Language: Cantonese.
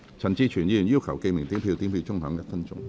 陳志全議員要求點名表決。